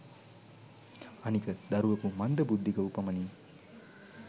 අනික දරුවකු මන්ද බුද්ධික වූ පමණින්